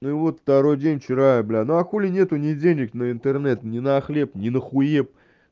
ну и вот второй день вчера я блин ну а хули нет ни денег на интернет ни на хлеб ни на хуеб